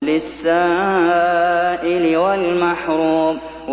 لِّلسَّائِلِ وَالْمَحْرُومِ